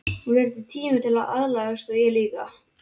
Hún þyrfti tíma til að aðlagast og ég líka.